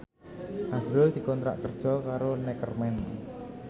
azrul dikontrak kerja karo Neckerman